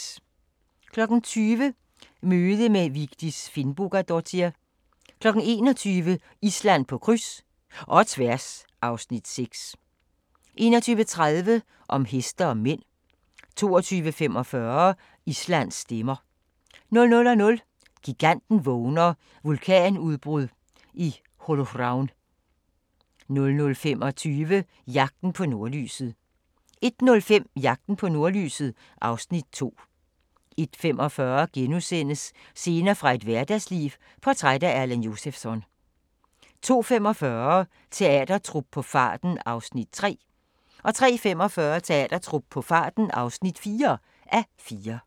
20:00: Møde med Vigdis Finnbogadottir 21:00: Island på kryds – og tværs (Afs. 6) 21:30: Om heste og mænd 22:45: Islands stemmer 00:00: Giganten vågner: Vulkanudbrud i Holuhraun 00:25: Jagten på nordlyset 01:05: Jagten på nordlyset (Afs. 2) 01:45: Scener fra et hverdagsliv – portræt af Erland Josephson * 02:45: Teatertrup på farten (3:4) 03:45: Teatertrup på farten (4:4)